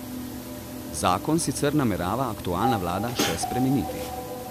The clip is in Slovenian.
Zakon sicer namerava aktualna vlada še spremeniti.